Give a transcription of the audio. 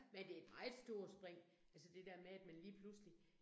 Men det et meget stort spring, altså det med, at man lige pludselig